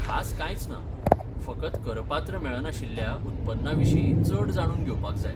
खास कांयच ना, फकत करपात्र मेळनाशिल्ल्या उत्पन्ना विशीं चड जाणून घेवपाक जाय.